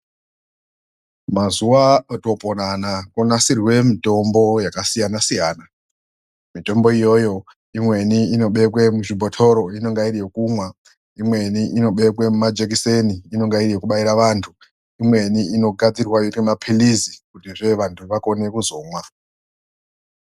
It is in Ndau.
Mazuva otoopona anaa konasirwe mitombo yakasiyana-siyana. Mitombo iyoyo imweni inobekwe muzvibhotoro, inenga iri yekumwa. Imweni inobekwe mumajikiseni inonga iri yekubaira vantu. Imweni inogadzirwa zvoitwa maphilizi kutizve vantu vakone kuzomwa.